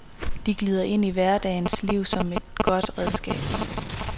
De glider ind i hverdagens liv som et godt redskab.